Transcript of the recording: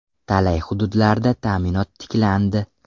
Talay hududlarda ta’minot tiklandi.